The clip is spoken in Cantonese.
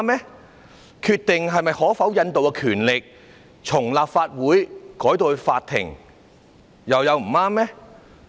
把決定可否引渡的權力由立法會轉移給法庭，又有不對嗎？